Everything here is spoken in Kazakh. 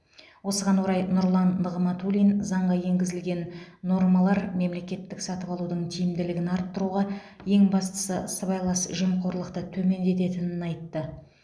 осыған орай нұрлан нығматулин заңға енгізілген нормалар мемлекеттік сатып алудың тиімділігін арттыруға ең бастысы сыбайлас жемқорлықты төмендететінін айтты